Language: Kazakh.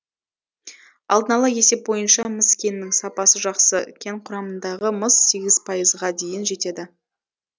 алдын ала есеп бойынша мыс кенінің сапасы жақсы кен құрамындағы мыс сегіз пайызға дейін жетеді